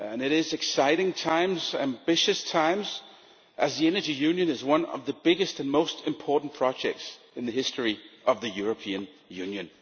These are exciting and ambitious times as the energy union is one of the biggest and most important projects in the history of the European Union.